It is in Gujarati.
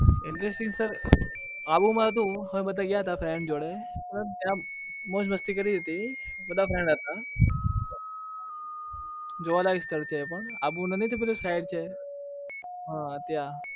interesting તો આબુમાં તો હતું અમે બધા ગયા હતા friend જોડે મતલબ ત્યાં મોજ મસ્તી કરી હતી બધા friend હતા જોવાલાયક સ્થળ છે એ પણ આબુ નથી પેલું શહેર છે હા ત્યાં